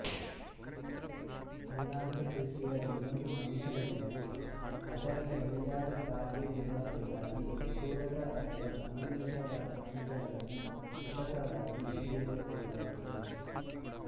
ಅಂಗಾಂಶ ಕೃಷಿಯ ಇನ್ನೊಂದು ಅಂಶವೆಂದರೆ ಅದರ ಸರಿಯಾದ ಕಾರ್ಯ ನಿರ್ವಹಣೆಗಾಗಿ ಪ್ರಚೋದಕ ಅಥವಾ ಸಮಂಜಸವಾದ ಅಂಶಗಳನ್ನು ಕೃತಕವಾಗಿ ಸೇರಿಸಬೇಕಾಗುತ್ತದೆ